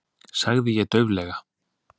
sagði ég dauflega.